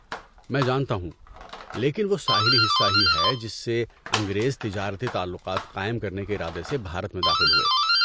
میں جانتا ہوں، لیکن وہ ساحلی حصہ ہی ہے جس سے انگریز تجارتی تعلقات قائم کرنے کے ارادے سے بھارت میں داخل ہوئے۔